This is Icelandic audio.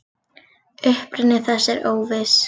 Uppruni þess er óviss.